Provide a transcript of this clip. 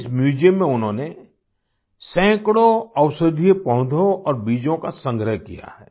इस म्यूज़ियम में उन्होंने सैकड़ों औषधीय पौधों और बीजों का संग्रह किया है